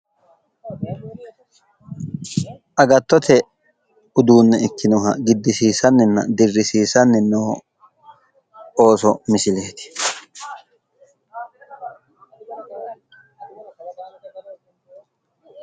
Agattote uduunne ikkinoha giddisisanninna dirrisiisanni noo ooso misileeti.